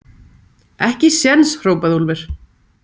Ekki séns, hrópaði Úlfur.